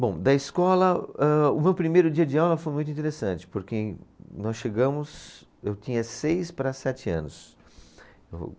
Bom, da escola, ah, o meu primeiro dia de aula foi muito interessante, porque nós chegamos, eu tinha seis para sete anos.